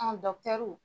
An